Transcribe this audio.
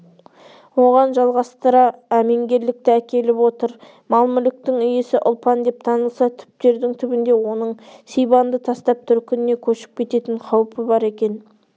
оған жалғастыра әменгерлікті әкеліп отыр мал-мүліктің иесі ұлпан деп танылса түптердің түбінде оның сибанды тастап төркініне көшіп кететін қаупі бар екен